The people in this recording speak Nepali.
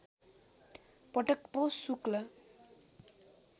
पटक पौष शुक्ल